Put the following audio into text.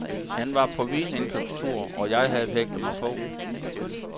Han var på vinindkøbstur, og jeg havde hægtet mig på.